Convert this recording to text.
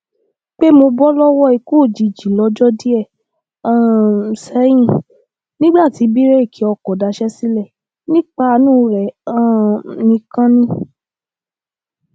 pé mo bọ lọwọ ikú òjijì lọjọ díẹ um sẹyìn nígbà tí bíréèkì ọkọ daṣẹ sílẹ nípa àánú rẹ um nìkan ni